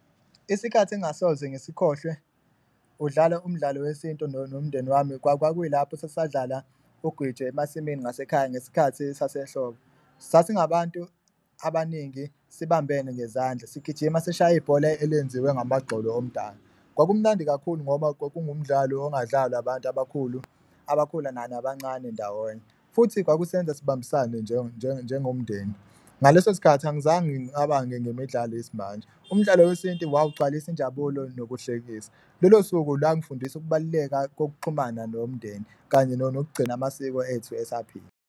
Isikhathi engasoze ngisikhohlwe kudlalwa umdlalo wesintu nomndeni wami kwakuyilapho esasadlala ugwitshe emasimini ngasekhaya ngesikhathi sasehlobo, sasingabantu abaningi sibambene ngezandla, sigijima sishaya ibhola elenziwe ngamagxolo omdala. Kwakumnandi kakhulu ngoba kwakungumdlalo ongadlalwa abantu abakhula, abakhula nabancane ndawonye futhi kwakusenza sibambisane njengomndeni, ngaleso sikhathi angizange ngicabange ngemidlalo yesimanje. Umdlalo wesintu wawugcwalisa injabulo nokuhlekisa, lolo suku lwangifundisa ukubaluleka kokuxhumana nomndeni kanye nokugcina amasiko ethu esaphila.